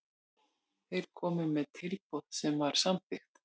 Þeir komu með tilboð sem var samþykkt.